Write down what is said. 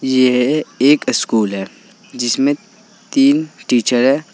यह एक स्कूल है जिसमें तीन टीचर है।